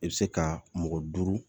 I bɛ se ka mɔgɔ duuru